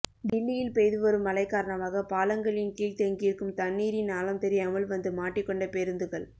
டில்லியில் பெய்துவரும் மழை காரணமாக பாலங்களின் கீழ் தேங்கியிருக்கும் தண்ணீரின் ஆழம் தெரியாமல் வந்து மாட்டிக்கொண்ட பேருந்துகள்